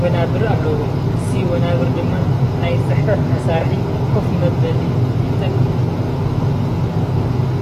ወናብር አለው። እዚ ወናብር ድማ ናይ ፅሕፈት መሳርሒ ከፍ መበሊ ይጠቅም፡፡